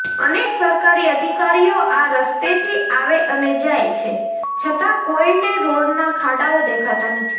અનેક સરકારી અધિકારીઓ આ રસ્તેથી આવે અને જાય છે છતાં કોયને રોડના ખાડાઓ દેખાતા નથી